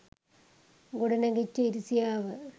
ගොඩනැගිච්ච ඉරිසියාව